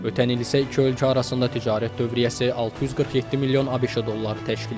Ötən il isə iki ölkə arasında ticarət dövriyyəsi 647 milyon ABŞ dolları təşkil edib.